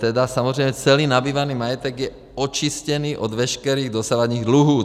Tedy samozřejmě celý nabývaný majetek je očištěný od veškerých dosavadních dluhů.